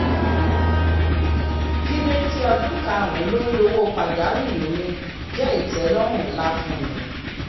dídé sí ọdún karùn-ún lórí owó pajawiri mi jẹ́ ìtẹlọ́run ńlá fún mi